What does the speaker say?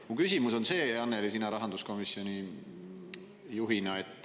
Aga mu küsimus on, Annely, sulle rahanduskomisjoni juhina.